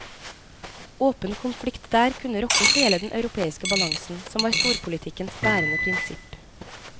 Åpen konflikt der kunne rokke hele den europeiske balansen, som var storpolitikkens bærende prinsipp.